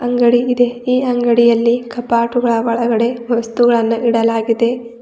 ಅಂಗಡಿ ಇದೆ ಈ ಅಂಗಡಿಯಲ್ಲಿ ಕಪಾಟುಗಳ ಒಳಗಡೆ ವಸ್ತುಗಳನ್ನ ಇಡಲಾಗಿದೆ.